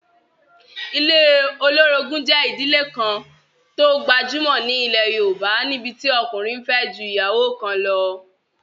Ilé olórogún jẹ́ ìdílé kan tó gbajúmọ̀ ní ilẹ̀ yóòbá, níbití ọkùnrin n fẹ́ ju ìyàwó kan lọ